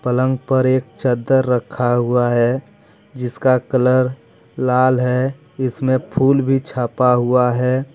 पलंग पर एक चदर रखा हुआ है जिसका कलर लाल हैजिसमें फूल भी छापा हुआ है।